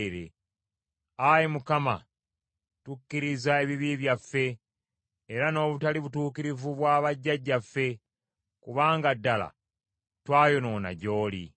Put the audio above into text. Ayi Mukama tukkiriza ebibi byaffe era n’obutali butuukirivu bwa bajjajjaffe, kubanga ddala twayonoona gy’oli.